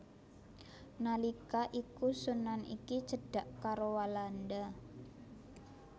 Nalika iku sunan iki cedhak karo Walanda